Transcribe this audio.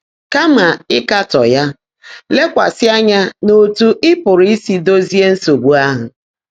Kàmà ị́kátọ́ yá, lékwásị́ ányá n’ọ́tú́ ị́ pụ́rụ́ ísi dózíé nsógbú áhụ́.